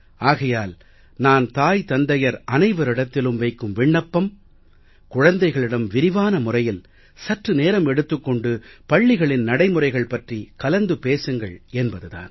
ஆகையால் நான் தாய் தந்தையர் அனைவரிடத்திலும் வைக்கும் விண்ணப்பம் குழந்தைகளிடம் விரிவான முறையில் சற்று நேரம் எடுத்துக் கொண்டு பள்ளிகளின் நடைமுறைகள் பற்றி கலந்து பேசுங்கள் என்பது தான்